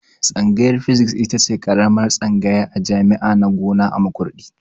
Tsangayar Physics itace karamar tsangaya a jami'a na gona a Makurdi